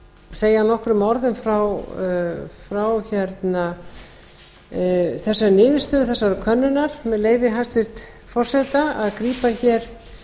segja nokkrum orðum frá þessari niðurstöðu þessara könnunar með leyfi hæstvirts forseta að grípa hér